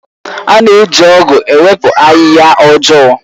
A na-eji ọ̀gu ewepụ ahịhịa ọjọọ.